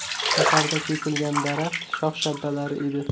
Shaharda kesilgan daraxt shox-shabbalari edi.